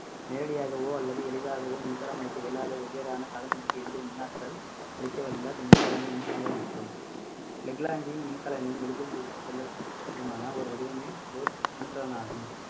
நேரடியாகவோ அல்லது எளிதாகவோ மின்சாரம் அளிக்க இயலாத வெவ்வேறான காலனிக்கு எளிதில் மின்னாற்றல் அளிக்கவல்லை மின்சாரமே மின்சாரம் எனப்படும் leclanche மின்கலனையும் எளிதில் எடுத்துச் செல்ல ஒரு வடிவமே ஒரு மின்கலனாகும்